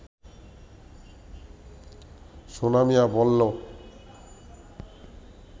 সোনা মিয়া বলল